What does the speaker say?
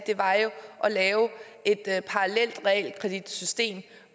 lave et parallelt realkreditsystem